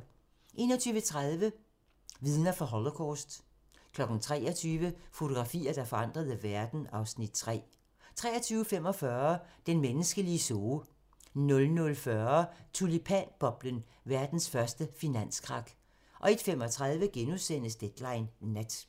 21:30: Vidner fra Holocaust 23:00: Fotografier, der forandrede verden (Afs. 3) 23:45: Den menneskelige zoo 00:40: Tulipanboblen - verdens første finanskrak 01:35: Deadline Nat *